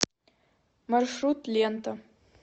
маршрут лента